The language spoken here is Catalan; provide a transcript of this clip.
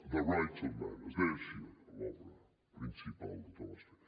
the rights of man es deia així l’obra principal de thomas paine